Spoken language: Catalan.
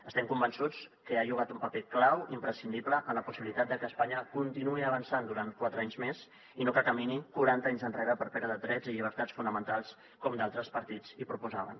estem convençuts que ha jugat un paper clau i imprescindible en la possibilitat de que espanya continuï avançant durant quatre anys més i no que camini quaranta anys enrere per perdre drets i llibertats fonamentals com d’altres partits proposaven